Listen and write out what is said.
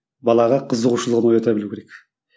балаға қызығушылығын оята білу керек